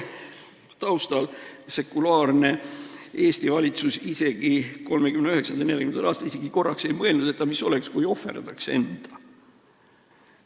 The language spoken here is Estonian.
Sekulaarne Eesti valitsus 1939.–1940. aastal ei mõelnud isegi korraks, et mis oleks, kui ohverdaks enda.